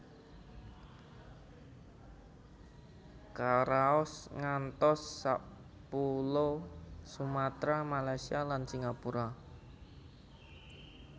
Karaos ngantos sapulo Sumatra Malaysia lan Singapura